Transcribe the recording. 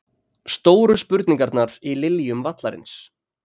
Stóru spurningarnar í Liljum vallarins